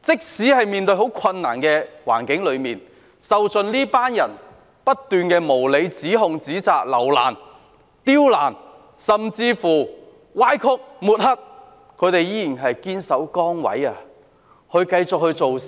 即使面對艱難的環境，受盡這些人的無理指控、指責、刁難，甚至歪曲事實和抹黑，但他們依然堅守崗位，繼續工作。